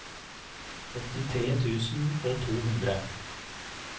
åttitre tusen og to hundre